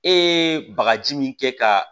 E ye bagaji min kɛ ka